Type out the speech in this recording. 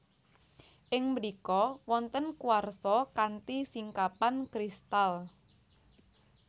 Ing mrika wonten kuarsa kanthi singkapan kristal